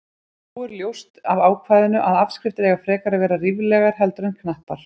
Þó er ljóst af ákvæðinu að afskriftir eiga frekar að vera ríflegar heldur en knappar.